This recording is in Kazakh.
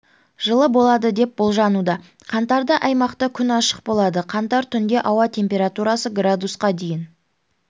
жылы болады деп болжануда қаңтарда аймақта күн ашық болады қаңтар түнде ауа температурасы градусқа дейін